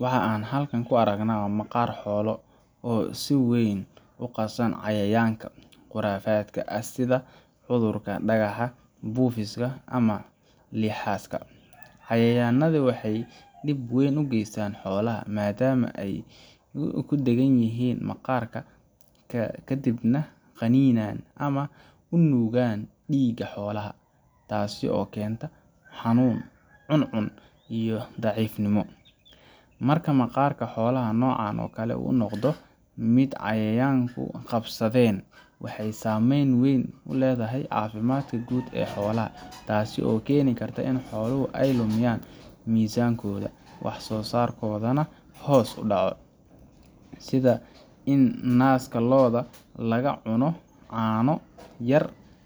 Waxa aan halkan ku aragnaa maqaar xoolo oo si weyn u qasan cayayaanka quraafaadka ah sida cudurka dhagaxa, buufiska, ama lixaska. Cayayaannadani waxay dhib weyn u geystaan xoolaha, maadaama ay ku dheggan yihiin maqaar ka dibna qaniinaan ama nuugaan dhiigga xoolaha, taasoo keenta xanuun, cuncun, iyo daciifnimo. Marka maqaar xoolaha noocan oo kale ah uu noqdo mid cayayaanku qabsadeen, waxay saamayn weyn ku leedahay caafimaadka guud ee xoolaha, taasoo keeni karta in xooluhu ay lumiyaan miisaankooda, wax soosaarkoodana hoos u dhaco, sida in naaska lo’da laga cuno caano yar